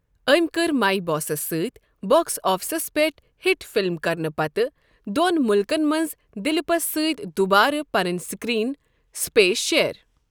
أمۍ کٔرۍ مائۍ باسَس سۭتۍ باکس آفسَس پٮ۪ٹھ ہِٹ فِلِم کرنہٕ پتہٕ دوٚن مُلکَن منٛز دلیپَس سۭتۍ دُوبارٕ پنٕنۍ سکرین سپیس شیئر۔